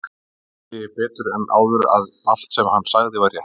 Nú sé ég betur en áður að allt, sem hann sagði, var rétt.